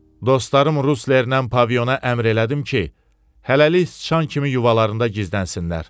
Dostlarım Ruslerlə Paviona əmr elədim ki, hələlik sıçan kimi yuvalarında gizlənsinlər.